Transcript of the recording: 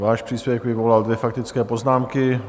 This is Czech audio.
Váš příspěvek vyvolal dvě faktické poznámky.